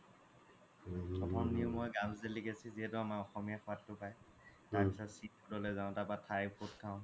প্ৰথ্ম নিও মই delicacy যিহেতু আমাৰ অসমীয়া সুৱাদ তো পাই তাৰ পিছ্ত sea food যাও তাৰ পা thai food খাও